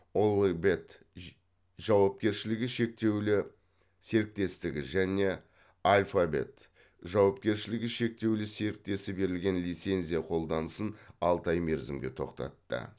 олі бет ж жауапкершілігі шектеулі серіктестігі және альфа бет жауапкершілігі шектеулі серіктесі берілген лицензия қолданысын алты ай мерзімге тоқтатты